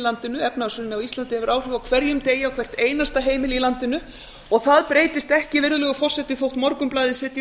landinu efnahagshrunið á íslandi hefur áhrif á hverjum degi á hvert einasta heimili í landinu það breytist ekki virðulegur forseti þótt morgunblaðið setji